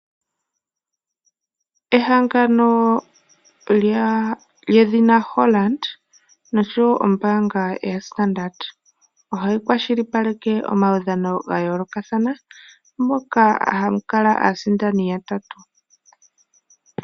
Ehangano lyedhina Holland noshowo ombaanga yedhina Standard ohayi kwashilipaleke omawudhano gayoolokathana moka hamu kala aasidani yatatu.